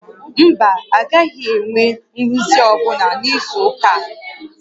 Mba, a gaghị enwe nrụzi ọ́bụla n'izu ụka a